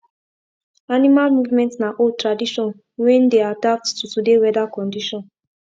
animal movement na old tradition wen dey adapt to today weather condition